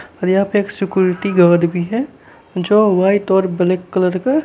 और यहां पे एक सिक्युरिटी गार्ड भी है जो वाइट और ब्लैक कलर का--